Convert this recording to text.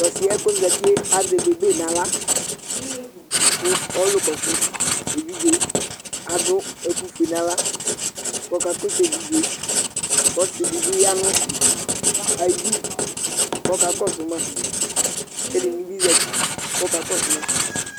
Tʋ ɔsɩ yɛ kʋ ɔzati yɛ azɛ bebe nʋ aɣla kʋ ɔlʋkɔsʋ evidze adʋ ɛkʋfue nʋ aɣla kʋ ɔkakɔsʋ evidze yɛ kʋ ɔsɩ dɩ bɩ ya nʋ ayidu kʋ ɔkakɔsʋ ma kʋ ɛdɩnɩ bɩ zati, kʋ ɔkakɔsʋ ma